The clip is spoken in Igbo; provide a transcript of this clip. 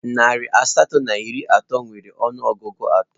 Narị asatọ na iri na otu nwere ọnụọgụ atọ